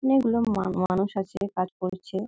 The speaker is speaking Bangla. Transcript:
অনেক গুলো মা মানুষ আছে কাজ করছে--